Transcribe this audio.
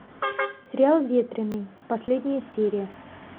сериал ветреный последняя серия